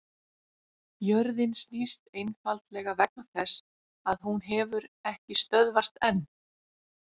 jörðin snýst einfaldlega vegna þess að hún hefur ekki stöðvast enn!